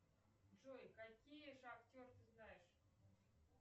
джой какие шахтеры ты знаешь